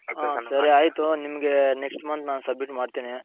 ಹ ಸರಿ ಆಯ್ತು ನಾನು ನಿಮ್ಮಗೆ next month submit ಮಾಡ್ತೀನಿ.